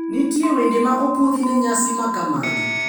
Nitie wende ma opwodhi ne nyasi makamagi.